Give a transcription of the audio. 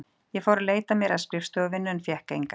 Ég fór að leita mér að skrifstofuvinnu en fékk enga.